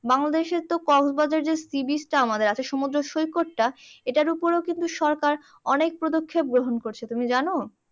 বাংলাদেশের তো কক্সবাজার যে seabeach টা আমাদের আছে সমুদ্র সৈকতটা এটার উপরেও কিন্তু সরকার অনেক পদক্ষেপ গ্রহণ করছে তুমি জানো?